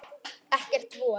Ekki von.